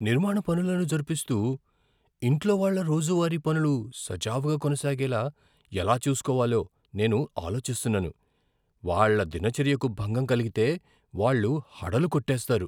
నిర్మాణ పనులను జరుపిస్తూ, ఇంట్లో వాళ్ళ రోజువారీ పనులు సజావుగా కొనసాగేలా ఎలా చూసుకోవాలో నేను ఆలోచిస్తున్నాను. వాళ్ళ దినచర్యకు భంగం కలిగితే వాళ్ళు హడలుకొట్టేస్తారు.